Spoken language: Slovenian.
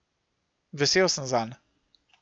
Vesel sem zanj.